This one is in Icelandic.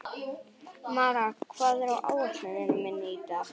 Mara, hvað er á áætluninni minni í dag?